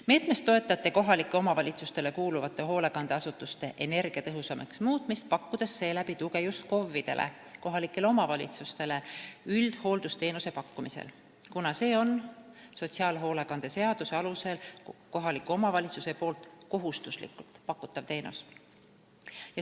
Meetmest toetati kohalikele omavalitsustele kuuluvate hoolekandeasutuste energiatõhusamaks muutmist, pakkudes seeläbi tuge just KOV-idele üldhooldusteenuse pakkumisel, kuna see on sotsiaalhoolekande seaduse alusel kohaliku omavalitsuse kohustuslikult pakutav teenus.